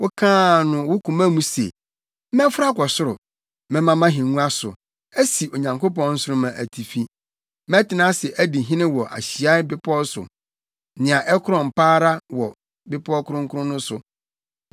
Wokaa no wo koma mu se, “Mɛforo akɔ ɔsoro; mɛma mʼahengua so asi Onyankopɔn nsoromma atifi; mɛtena ase adi hene wɔ ahyiae bepɔw so, nea ɛkorɔn pa ara wɔ bepɔw kronkron no so.